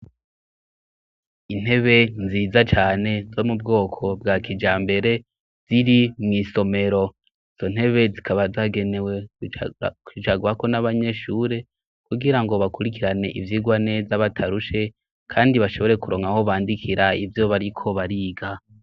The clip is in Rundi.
Intebe nziza cane zo mu bwoko bwa kija mbere ziri mu isomero zo ntebe zikaba zagenewe kicagwako n'abanyeshure kugira ngo bakurikirane ivyigwa neza batarushe kandi bashobore kuronkaho bandikira ibyo bariko bariga.